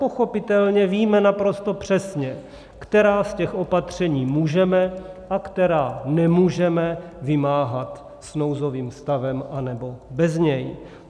Pochopitelně víme naprosto přesně, která z těch opatření můžeme a která nemůžeme vymáhat s nouzovým stavem nebo bez něj.